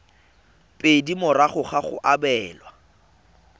pedi morago ga go abelwa